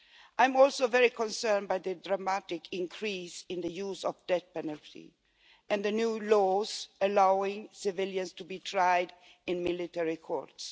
I am also very concerned by the dramatic increase in the use of the death penalty and the new laws allowing civilians to be tried in military courts.